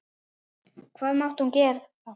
Hvað mátti hún þá gera?